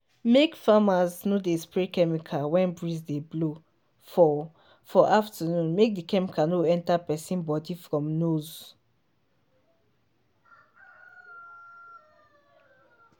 make farmers no dey spray chemical when breeze dey blow for for afternoon make the chemical no enter person bodyfrom nose.